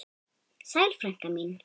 Sæl frænka mín.